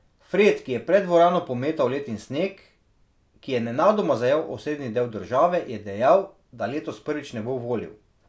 Fred, ki je pred dvorano pometal led in sneg, ki je nenadoma zajel osrednji del države, je dejal, da letos prvič ne bo volil.